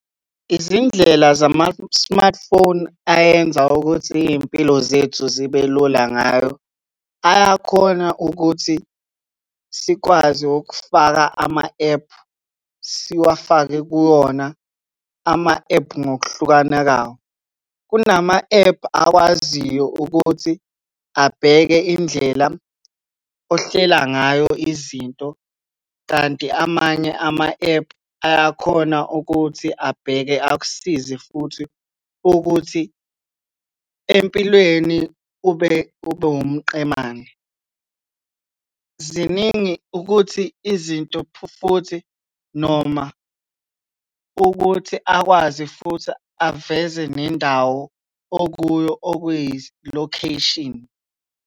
Izindlela zama-smartphone ayenza ukuthi iy'mpilo zethu zibe lula ngayo, ayakhona ukuthi sikwazi ukufaka ama-ephu, siwafake kuwona ama-ephu ngokuhlukana kawo. Kunama-ephu akwaziyo ukuthi abheke indlela ohlela ngayo izinto kanti amanye ama-ephu ayakhona ukuthi abheke akusize futhi ukuthi empilweni ube wumqemane. Ziningi ukuthi, izinto futhi, noma ukuthi akwazi futhi aveze nendawo okuyo okuyi-location.